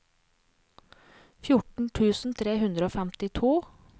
fjorten tusen tre hundre og femtito